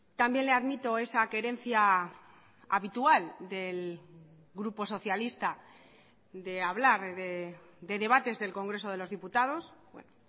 también le admito esa querencia habitual del grupo socialista de hablar de debates del congreso de los diputados bueno